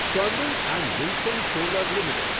Sterling and wilson solar limited